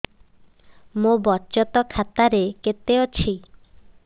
ମୋ ବଚତ ଖାତା ରେ କେତେ ଅଛି